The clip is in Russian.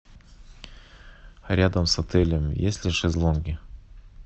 рядом с отелем есть ли шезлонги